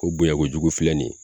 O bonya kojugu filɛ nin ye